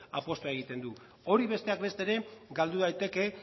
apustua egiten du hori besteak beste ere galdu daiteke